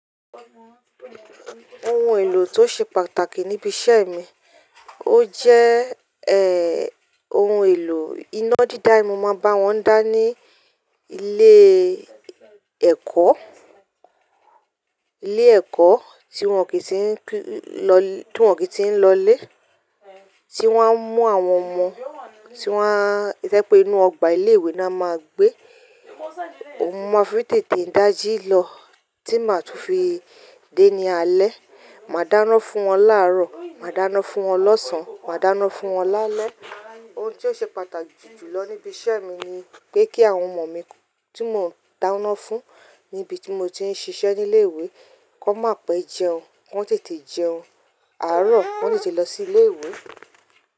Ohun èlò tó ṣe pàtàkì níbi iṣẹ́ mi, ó jẹ́ ẹ, ohun èlò iná dídá, mo máa ń bá wọn dáná ní ilé ẹ́kọ́, ilé ẹ́kọ́ tí wọ́n kì í ti ń lọ, tí wọ́n kì í ti ń lọlé, tí wọ́n ń mú àwọn ọmọ tí wọ́n, ìtẹ́pẹ inú ọgbà ilé ìwé ni a máa ń gbé. Ohun mo fi tètè dáji lọ tí màá tún fi dé ní alẹ́. Màá dáná fún wọn láàrọ̀, màá dáná fún wọn lọ́sàn án, màá dáná fún wọn lálẹ́. Ohun tí ó ṣe pàtàkì jù lọ níbi iṣẹ́ mi ni pé kí àwọn ọmọ mi tí mò ń dáná fún níbi tí mo ti ń ṣiṣẹ́ ní ilé ìwé kó má pẹ́ jẹun, kó tètè jẹun. Àárọ̀ wọ́n sì ti lọ sí ilé ìwé.